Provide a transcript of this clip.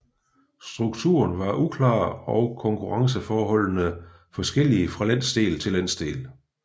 Strukturen var uklar og konkurrenceforholdene forskellige fra landsdel til landsdel